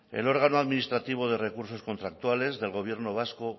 el órgano administrativo de recursos contractuales del gobierno vasco